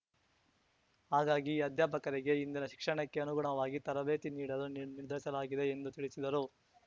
ಹಾಗಾಗಿ ಅಧ್ಯಾಪಕರಿಗೆ ಇಂದಿನ ಶಿಕ್ಷಣಕ್ಕೆ ಅನುಗುಣವಾಗಿ ತರಬೇತಿ ನೀಡಲು ನಿರ್ ನಿರ್ಧರಿಸಲಾಗಿದೆ ಎಂದು ತಿಳಿಸಿದರು